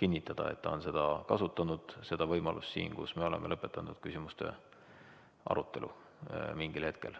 kinnitada, et ta on kasutanud siin seda võimalust, et me oleme lõpetanud küsimuste arutelu mingil hetkel.